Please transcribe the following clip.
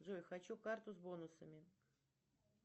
джой хочу карту с бонусами